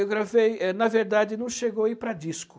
Eu gravei é... Na verdade, não chegou a ir para disco.